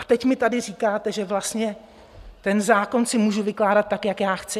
A teď mi tady říkáte, že vlastně ten zákon si můžu vykládat tak, jak já chci?